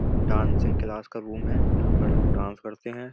Dancing class का room है। यहाँ पर लोग डांस करते हैं।